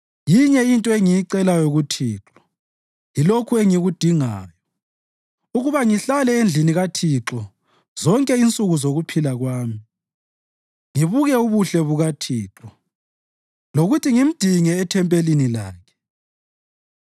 Yinye into engiyicelayo kuThixo, yilokhu engikudingayo: ukuba ngihlale endlini kaThixo zonke insuku zokuphila kwami, ngibuke ubuhle bukaThixo, lokuthi ngimdinge ethempelini lakhe.